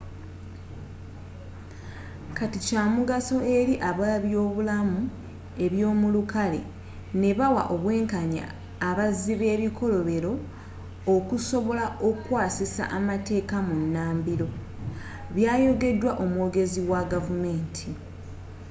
kati kyamugaso eri abebyobulamu ebyomulukale nabawa obwenkanya abazzi bebikolobero okusobola okukwasisa amateeka bunambiro byayogedwa omwogezi wa gavumenti.